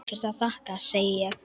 Ekkert að þakka, segi ég.